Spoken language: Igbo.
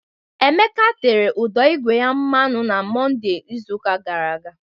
Emeka tere ụdọ ígwè ya mmanụ na Mọnde izuụka gara aga